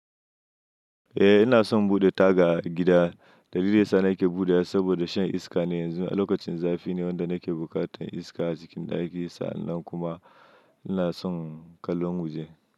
Eh ina son buɗe taga a gida, dalilin sa na yake buɗewa saboda shan iska ne yanzu. A lokacin zafi ne wanda nake bukatan iska a cikin ɗaki, sa'annan kuma ina son kallon waje.